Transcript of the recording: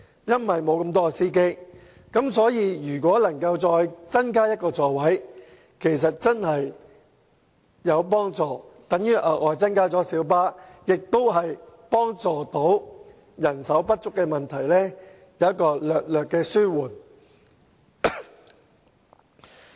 因此，如果能夠再增加1個座位，其實真的會有幫助，因為這等於增加了小巴的數目，令人手不足的問題得以稍為紓緩。